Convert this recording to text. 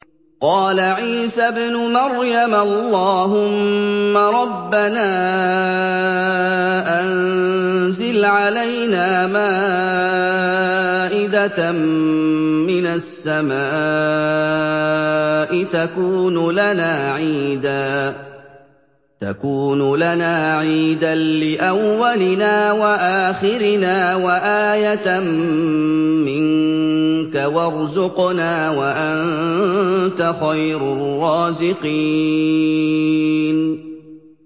قَالَ عِيسَى ابْنُ مَرْيَمَ اللَّهُمَّ رَبَّنَا أَنزِلْ عَلَيْنَا مَائِدَةً مِّنَ السَّمَاءِ تَكُونُ لَنَا عِيدًا لِّأَوَّلِنَا وَآخِرِنَا وَآيَةً مِّنكَ ۖ وَارْزُقْنَا وَأَنتَ خَيْرُ الرَّازِقِينَ